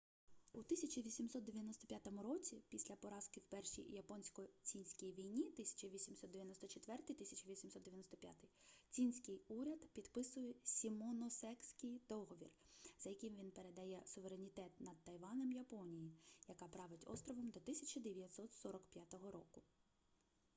у 1895 році після поразки в першій японсько-цінській війні 1894-1895 цінський уряд підписує сімоносекський договір за яким він передає суверенітет над тайванем японії яка править островом до 1945 року